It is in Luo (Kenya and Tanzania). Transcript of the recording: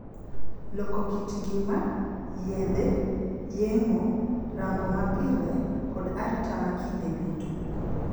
Loko kit ngima, yedhe, yeng'o, rango mapile, kod arita ma kinde duto.